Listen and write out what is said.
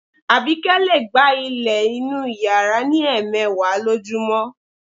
Àbíkẹ́ lè gbá ilẹ̀ inú yàrá ní ẹ̀ẹmẹ̀wà lójúmọ́